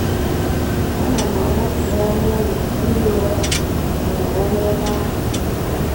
Ana m abakpu n’ọnụ ụlọ ihi ụra m ma nọrọ n’ebe ahụ.